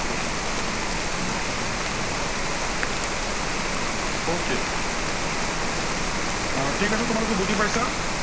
okay আহ ঠিক আছে তোমালোকে বুজি পাইছা?